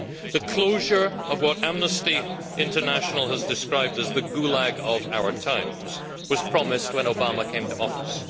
The closure of what Amnesty International has described as the Gulag of our times' was promised when Obama came to office.